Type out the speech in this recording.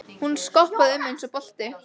Hún skoppaði um eins og bolti.